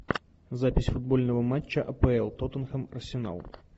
запись футбольного матча апл тоттенхэм арсенал